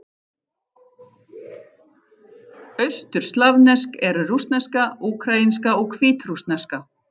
Austurslavnesk eru: rússneska, úkraínska og hvítrússneska.